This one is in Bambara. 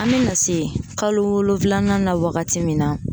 an bɛ na se kalo wolofilanan na wagati min na